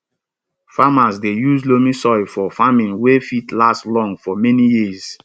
farmers dey use loamy soil for farming wey fit last long for many years